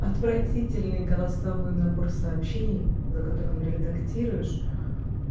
отвратительный голосовой набор сообщений за которым редактируешь